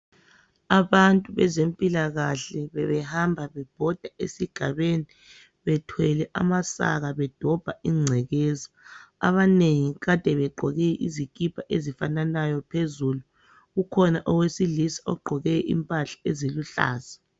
Abantu bezempilakahle bebehamba bebhoda esigabeni bethwele amasaka bedobha ingcekeza. Abanengi kade beqgoke izikhipha ezifananayo phezulu. kukhona owesilisa ogqoke impahla eziluhlaza.